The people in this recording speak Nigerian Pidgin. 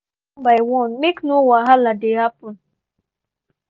we dey use di kitchen one by one make no wahala dey happen.